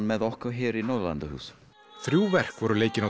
með okkur í Norðurlanda húsinu þrjú verk voru leikin á